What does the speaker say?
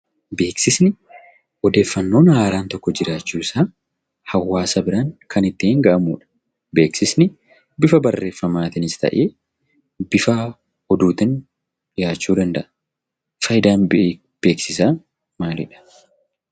Beeksisni odeeffannoon haaraan tokko jiraachuu isaa hawwaasa biraan kan ittiin ga'amuu dha. Beeksisni bifa barreeffamaatiinis ta'ee bifa oduutiin dhiyaachuu danda'a. Faayidaan beeksisaa maal?